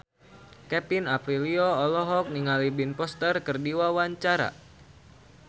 Kevin Aprilio olohok ningali Ben Foster keur diwawancara